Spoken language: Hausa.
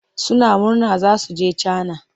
Suna murna za su je Cana.